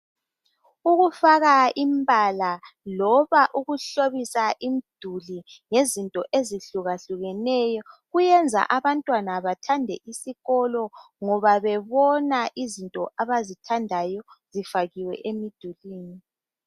Ukufaka imbala loba ukuhlobisa imduli ngezinto ezihlukahlukeneyo kuyenza abantwana bathande isikolo ngoba bebona izinto abazithandayo zifakiwe emidulwini.